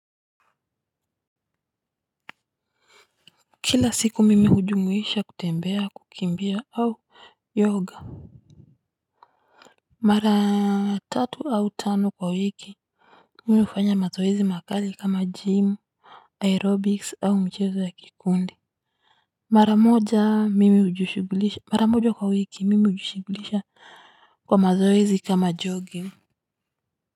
Kila siku mimi hujumuisha kutembea kukimbia au yoga mara tatu au tano kwa wiki mi hufanya mazoezi makali kama gym aerobics au mchezo ya kikundi mara moja mimi hujishughulisha mara moja kwa wiki mimi hujushughulisha kwa mazoezi kama jogging.